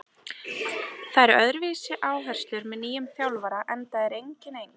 Það eru öðruvísi áherslur með nýjum þjálfara enda er enginn eins.